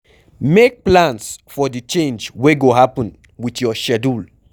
Make plans for di change wey go happen with your schedule